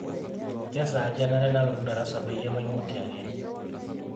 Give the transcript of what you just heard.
kesaaja enare nalotu darasa peyie maimutie ake